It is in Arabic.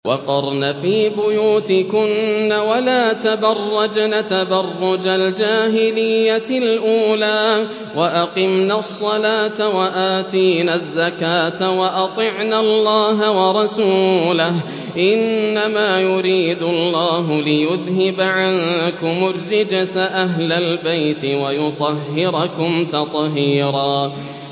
وَقَرْنَ فِي بُيُوتِكُنَّ وَلَا تَبَرَّجْنَ تَبَرُّجَ الْجَاهِلِيَّةِ الْأُولَىٰ ۖ وَأَقِمْنَ الصَّلَاةَ وَآتِينَ الزَّكَاةَ وَأَطِعْنَ اللَّهَ وَرَسُولَهُ ۚ إِنَّمَا يُرِيدُ اللَّهُ لِيُذْهِبَ عَنكُمُ الرِّجْسَ أَهْلَ الْبَيْتِ وَيُطَهِّرَكُمْ تَطْهِيرًا